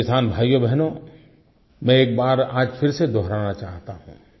मेरे किसान भाइयोबहनों मैं एक बार आज फिर से दोहराना चाहता हूँ